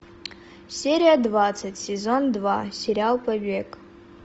серия двадцать сезон два сериал побег